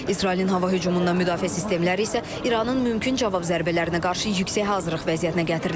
İsrailin hava hücumundan müdafiə sistemləri isə İranın mümkün cavab zərbələrinə qarşı yüksək hazırlıq vəziyyətinə gətirilib.